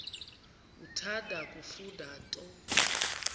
uthanda kufunda nto